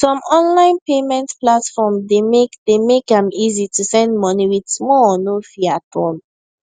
some online payment platform dey make dey make am easy to send money with small or no fee at all